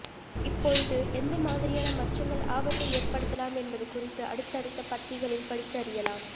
இப்பொழுது எந்த மாதிரியான மச்சங்கள் ஆபத்தை ஏற்படுத்தலாம் என்பது குறித்து அடுத்தடுத்த பத்திகளில் படித்து அறியலாம்